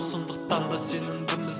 сондықтанда сенімдіміз